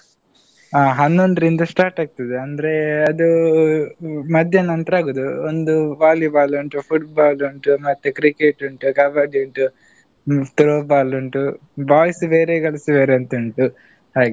ಹಾ ಹನ್ನೊಂದ್ರಿಂದ start ಆಗ್ತದೆ. ಅಂದ್ರೆ ಅದು ಮಧ್ಯಾಹ್ನ ನಂತರ ಆಗೋದು. ಒಂದು Volleyball ಉಂಟು, Football ಉಂಟು, ಮತ್ತೆ Cricket ಉಂಟು, Kabaddi ಉಂಟು Throwball ಉಂಟು boys ಬೇರೆ girls ಬೇರೆ ಅಂತ ಉಂಟು ಹಾಗೆ.